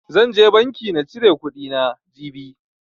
Zan je banki na cire kuɗi na, jibi.